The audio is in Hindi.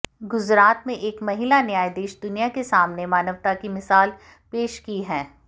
गुजरात में एक महिला न्यायाधीश दुनिया के सामने मानवता की मिसाल पेश की है